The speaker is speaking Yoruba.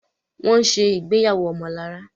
Wón ṣe ìgbéyàwó omolara